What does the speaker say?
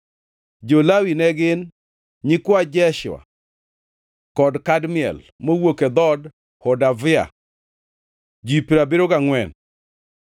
Jo-Lawi ne gin: nyikwa Jeshua kod Kadmiel (mowuok e dhood Hodavia), ji piero abiriyo gangʼwen (74).